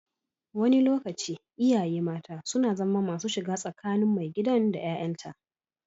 Wani lokaci, iyaye mata suna zama masu shiga tsakani tsakanin maigidan da 'ya'yanta.